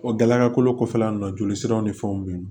O gɛlɛya kolo kɔfɛla in na joli siraw ni fɛnw be yen nɔ